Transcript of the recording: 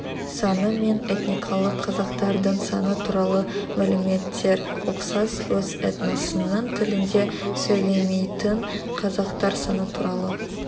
саны мен этникалық қазақтардың саны туралы мәліметтер ұқсас өз этносының тілінде сөйлемейтін қазақтар саны туралы